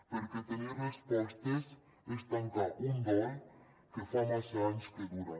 perquè tenir respostes és tancar un dol que fa massa anys que dura